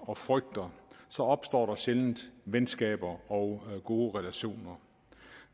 og frygter så opstår der sjældent venskaber og gode relationer